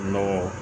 Nɔgɔ